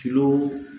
Kilo